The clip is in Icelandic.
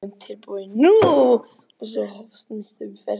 Viðbúinn, tilbúinn- nú! og svo hófst næsta umferð.